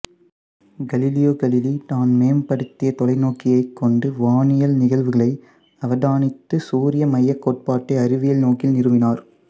Galileo Galilei தான் மேம்படுத்திய தொலைநோக்கியைக் கொண்டு வானியல் நிகழ்வுகளை அவதானித்து சூரிய மையக் கோட்பாட்டை அறிவியல் நோக்கில் நிறுவினார்